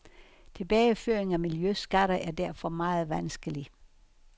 Tilbageføring af miljøskatter er derfor meget vanskelig.